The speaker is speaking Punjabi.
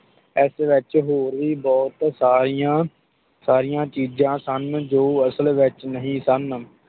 ਇਸ ਵਿਚ ਹੋਰ ਵੀ ਬੋਹੋਤ ਸਾਰੀਆਂ ਸਾਰੀਆਂ ਚੀਜ਼ ਸਨ ਜੋ ਅਸਲ ਵਿਚ ਨਹੀਂ ਸਨ